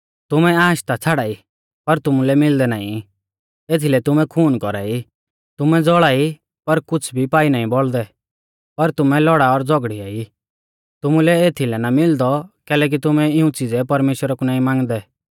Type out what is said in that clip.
तुमै आश ता छ़ाड़ाई पर तुमुलै मिलदै नाईं एथीलै तुमै खून कौरा ई तुमै ज़ौल़ाई पर कुछ़ भी पाई नाईं बौल़दै पर तुमै लौड़ा और झ़ौगड़िया ई तुमुलै एथीलै ना मिलदौ कैलैकि तुमै इऊं च़िज़ै परमेश्‍वरा कु नाईं मांगदै